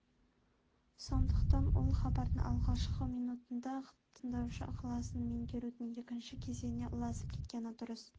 сондықтан ол хабардың алғашқы минутында-ақ тыңдаушы ықыласын меңгерудің екінші кезеңіне ұласып кеткені дұрыс